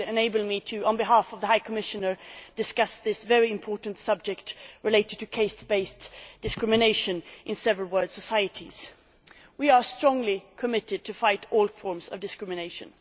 It enables me, on behalf of the High Commissioner, to discuss the very important matter of caste based discrimination in several world societies. We are strongly committed to fighting all forms of discrimination.